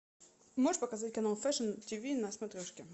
можешь показать канал фэшн тиви на смотрешке